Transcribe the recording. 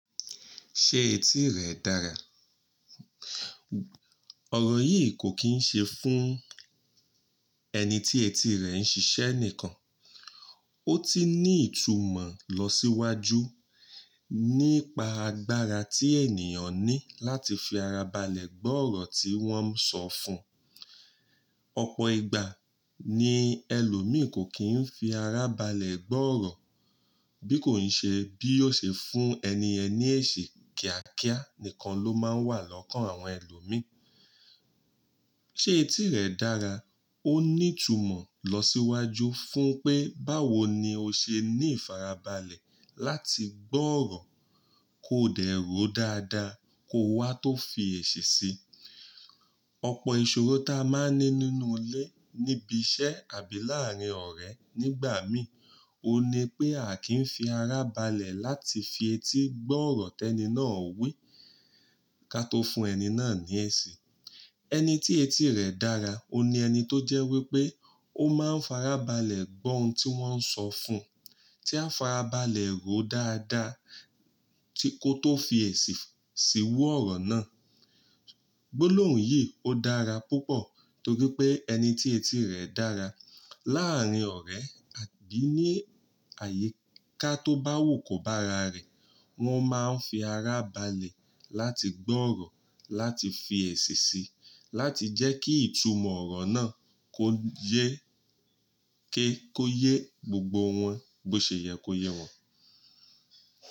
Ṣé etí rẹ dára? Òrò yì kò ki ṣe fún ẹni tí etí rẹ̀ ń ṣiṣẹ́ nìkan. Ó ti ní ìtumọ̀ lọ síwájú nípa agbára tí ènìyàn ní láti fi ara balẹ̀ gbọ́ ọ̀rọ̀ tí wọ́n ń sọ fún. Ọ̀pọ̀ ìgbà ni ẹlòmí kò kí ń fi ara balẹ̀ gbọ́ ọ̀rọ̀, bí kò ṣe bí ó ṣe fún ẹni yẹn lèsì kíákíá nìkan ló máa ń wà lọ́kàn àwọn ẹlòmí. Ṣé etí rẹ dára, ó ní ìtumọ̀ lọ síwájú fún pé báwo ni o ṣe ní ìfarabalẹ̀ láti gbọ́ ọ̀rọ̀, kó dẹ́rò dádá kó wá tó fi èsì sí Ọ̀pọ̀ ìṣòro ta máa ń ní nínú ilé níbi iṣẹ́ àbí láárín ọ̀rẹ́ nígbà mí, ó ní pé a kì í fi ara balẹ̀ láti fi etí gbọ́ ọ̀rọ̀ tẹni náà wí, ká tó fún ẹni náà ní eṣi. Ẹni tí etí rẹ̀ dára, ó ni ẹni tó jẹ́ wípé ó máa ń farabalẹ̀ gbọ́ ohun tí wọ́n ń sọ fún, tí a farabalẹ̀ ròó dáda tí kò tó fi èsì síru ọ̀rọ̀ náà. Gbolohùn yì ó dára púpọ̀ torí pé ẹni tí etí rẹ̀ dára láàrín ọ̀rẹ́ àbí ní àyíká tó bá wò kó bá ara rẹ̀, wọ́n máa ń fi ara balẹ̀ láti gbọ́ ọ̀rọ̀, láti fi èsì sí i, láti jẹ́ kí ìtumọ̀ ọ̀rọ̀ náà kó yé ké kó yé gbogbo wọn bó ṣe yẹ kó yé wọn.